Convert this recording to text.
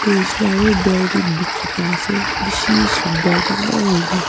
huishe leh aro building dikhi pai ase bishi sundor dangor hui na.